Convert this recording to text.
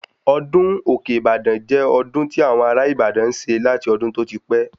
Ọdún òkè - Ibadan jẹ́ ọdún tí àwọn ará ìbàdàn n ṣe láti ọdún tó ti pẹ́